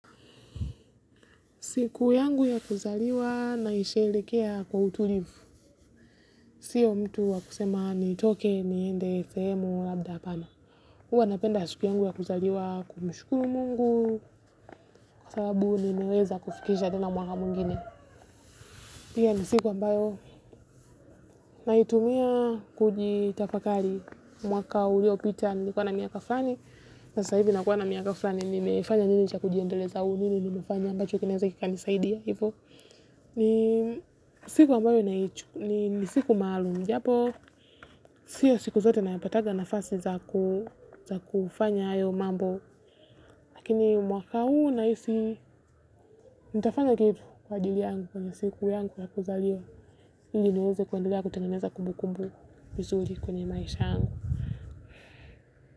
Siku yangu ya kuzaliwa naisherehekea kwa utulivu. Sio mtu wa kusema nitoke niende sehemu labda hapana. Huwa napenda siku yangu ya kuzaliwa kumshukuru Mungu. Sababu nimeweza kufikisha tena mwaka mwingine. Hiyo ni siku ambayo naitumia kujitafakari. Mwaka uliopita nilikuwa na miaka fulani. Sasa hivi nakuwa na miaka fulani nimefanya nini cha kujiendeleza au nini nimefanya ambacho kinaweza kikanisaidia hivo. Ni siku ambayo, ni siku maalum japo sio siku zote nayapatanga nafasi za kufanya hayo mambo lakini mwaka huu naaisi nitafanya kitu kwa ajli yangu kwenye siku yangu ya kuzaliwa ili niweze kuandelea kutengeneza kumbu kumbu mizuri kwenye maisha yangu.